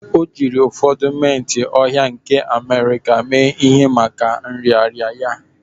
O jiri ụfọdụ mint ohia nke America mee ihe maka nrịanrịa ya